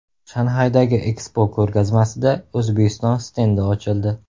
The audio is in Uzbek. Shanxaydagi Expo ko‘rgazmasida O‘zbekiston stendi ochildi.